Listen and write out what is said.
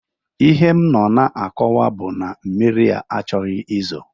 Ihe m nọ na-akọwa bụ na mmiri a achọghị izo